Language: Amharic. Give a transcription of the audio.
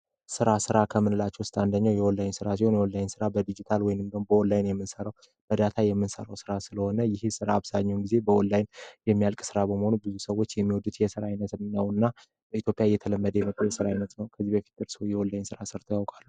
ሥራ ሥራ ከሚላቸው ውስጥ አንደኛው የኦላይ ሥራ ሲሆን ስራ በዲጂታል ወይንም በኦላይን የሚሠሩበት እርዳታ የምንሠራው ሥራ ስለሆነ ይህ ሥራ አብዛኛውን ጊዜ በኦንላይን የሚያልቅ ሥራ በመሆኑ ብዙ ሰዎች የሚወዱት የሥራ ዓይነት ነው እና በኢትዮጵያ የተለመደ የስራ አይነት ነው። ከዚህ በፊት እርስዎ የኦላይ ስራ ሰርተው ያውቃሉ?